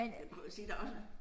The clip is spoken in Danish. Kunne jo se der også